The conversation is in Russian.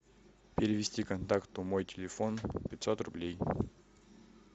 перевести контакту мой телефон пятьсот рублей